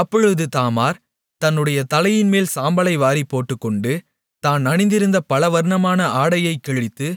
அப்பொழுது தாமார் தன்னுடைய தலையின்மேல் சாம்பலை வாரிப் போட்டுக்கொண்டு தான் அணிந்திருந்த பலவர்ணமான ஆடையைக்கிழித்து